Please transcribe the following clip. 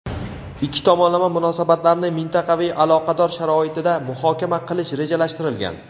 ikki tomonlama munosabatlarni mintaqaviy aloqalar sharoitida muhokama qilish rejalashtirilgan.